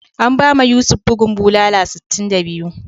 An bama Yusuf bugun bulala sitin da biyu.